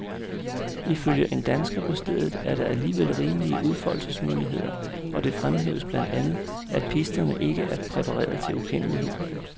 Ifølge en dansker på stedet er der alligevel rimelige udfoldelsesmuligheder, og det fremhæves blandt andet, at pisterne ikke er præpareret til ukendelighed.